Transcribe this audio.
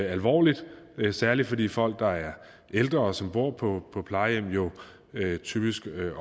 alvorligt særlig fordi de folk der er ældre og som bor på på plejehjemmene typisk